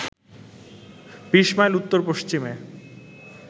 ২০ mile উত্তর-পশ্চিমে